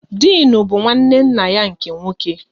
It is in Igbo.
Dịnụ bụ nwanne nna ya nke nwoke